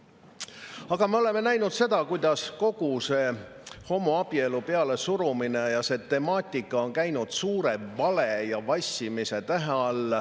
Aga me oleme näinud seda, kuidas kogu see homoabielu pealesurumine ja see temaatika on käinud suure vale ja vassimise tähe all.